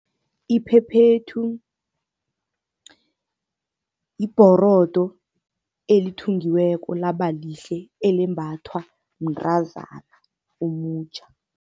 Iphephethu yibhorodo elithungiweko laba lihle, elembathwa mntrazana omutjha.